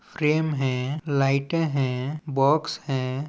Frame है लाइटे है बॉक्स हैं।